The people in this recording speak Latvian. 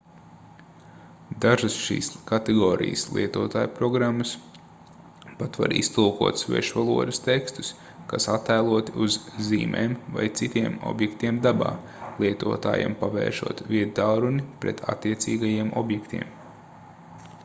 dažas šīs kategorijas lietojumprogrammas pat var iztulkot svešvalodas tekstus kas attēloti uz zīmēm vai citiem objektiem dabā lietotājam pavēršot viedtālruni pret attiecīgajiem objektiem